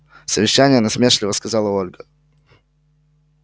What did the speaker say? совещание насмешливо сказала ольга